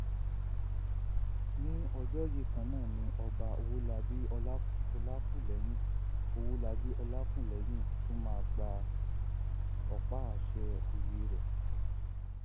ní ọjọ yìí kan náà ni ọba ọwọlabí ọlàkúlẹyìn ọwọlabí ọlàkúlẹyìn tún máa gba ọpá àṣẹ òye rẹ